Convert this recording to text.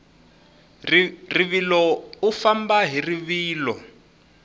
rivilo u famba hi rivilo